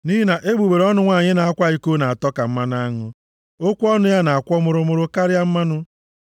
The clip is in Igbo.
Nʼihi na egbugbere ọnụ nwanyị na-akwa iko na-atọ ka mmanụ aṅụ, okwu ọnụ ya na-akwọ mụrụmụrụ karịa mmanụ.